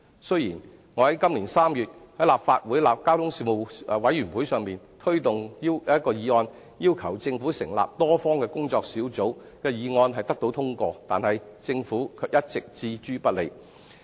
雖然我在今年3月在立法會交通事務委員會上提出要求政府成立多方工作小組的議案獲得通過，但政府卻一直置之不理。